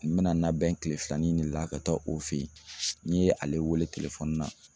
N bɛna labɛn kile filanan in de la ka taa o fɛ yen, n' ye ale wele telefɔni na.